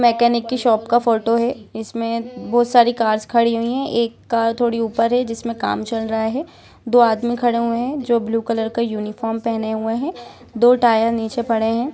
Mechanic की shop का photo है इसमें बहुत सारी कर खड़ी हुई है एक कर थोड़ी ऊपर है जिसमें काम चल रहा है दो आदमी खड़े हुए हैं जो ब्लू कलर का यूनिफॉर्म पहने हुए हैं दो टार नीचे पड़े हैं।